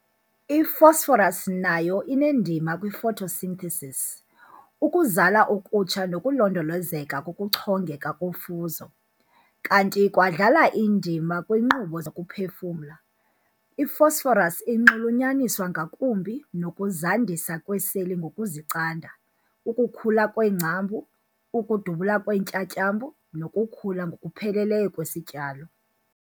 I-Phosphorus nayo inendima kwifotosinthesisi, ukuzala okutsha nokulondolozeka kokuchongeka kofuzo, kanti ikwadlala indima kwiinkqubo zokuphefumla. I-phosphorus inxululunyaniswa ngakumbi nokuzandisa kweeseli ngokuzicanda, ukukhula kweengcambu, ukudubula kweentyatyambo nokukhula ngokupheleleyo kwesityalo.